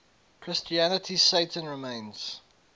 christianity satan remains